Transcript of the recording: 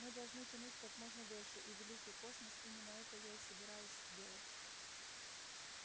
мы должны тянуть как можно дольше и великий космос именно это я и собираюсь сделать